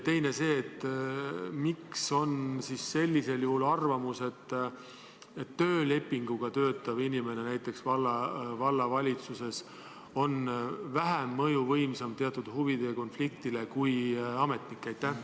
Teiseks, miks on sellisel juhul arvamus, et töölepinguga töötav inimene näiteks vallavalitsuses on vähem mõjuvõimsam teatud huvide konflikti puhul kui ametnik?